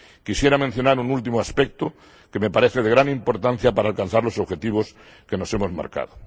Quisiera mencionar un último aspecto que me parece de gran importancia para alcanzar los objetivos que nos hemos marcado.